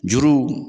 Juru